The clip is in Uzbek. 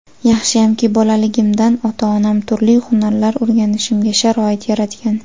Yaxshiyamki, bolaligimdan ota-onam turli hunarlar o‘rganishimga sharoit yaratgan.